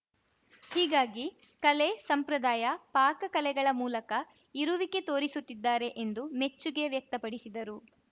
ಹೀಗಾಗಿ ಕಲೆ ಸಂಪ್ರದಾಯ ಪಾಕ ಕಲೆಗಳ ಮೂಲಕ ಇರುವಿಕೆ ತೋರಿಸುತ್ತಿದ್ದಾರೆ ಎಂದು ಮೆಚ್ಚುಗೆ ವ್ಯಕ್ತಪಡಿಸಿದರು